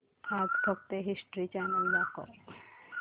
आज फक्त history channel दाखव